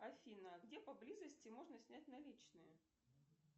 афина где по близости можно снять наличные